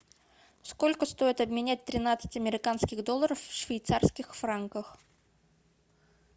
сколько стоит обменять тринадцать американских долларов в швейцарских франках